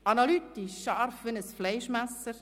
analytisch scharf wie ein Fleischmesser;